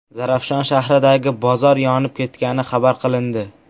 Zarafshon shahridagi bozor yonib ketgani xabar qilindi.